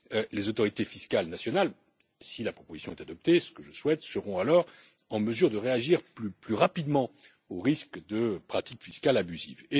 Les autorités fiscales nationales, si la proposition est adoptée ce que je souhaite seront alors en mesure de réagir plus rapidement au risque de pratiques fiscales abusives.